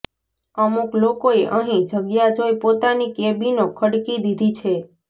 અમુક લોકોએ અહિ જગ્યા જોઈ પોતાની કેબીનો ખડકી દિધી છે